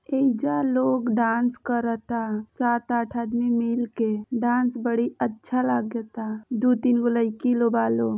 एहिजा लोग डांस करता सात आठ आदमी मिलके। डांस बड़ी अच्छा लागता दो तीन गो लइकी लो बा लो--